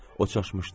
O çaşmışdı.